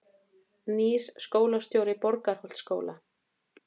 Nýr skólastjóri Borgarholtsskóla